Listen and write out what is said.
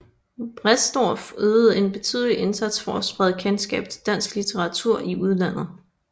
Bredsdorff ydede en betydelig indsats for at sprede kendskab til dansk litteratur i udlandet